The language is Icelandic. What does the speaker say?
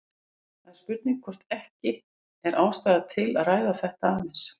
Það er spurning hvort ekki er ástæða til að ræða aðeins um þetta.